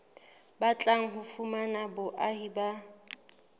batlang ho fumana boahi ba